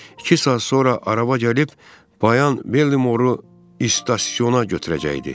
İki saat sonra araba gəlib Bayan Bellimoru stasiyona götürəcəkdi.